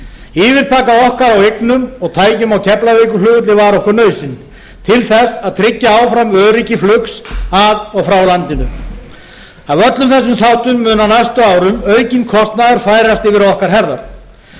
yfirtaka okkar á eignum og tækjum á keflavíkurflugvelli var okkur nauðsyn til þess að tryggja áfram öryggi flugs að og frá landinu af öllum þessum þáttum mun á næstu árum aukinn kostnaður færast yfir á okkar herðar